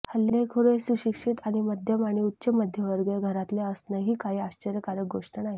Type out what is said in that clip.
हल्लेखोर हे सुशिक्षित आणि मध्यम आणि उच्च मध्यमवर्ग घरातले असणं ही काही आश्चर्यकारक गोष्ट नाही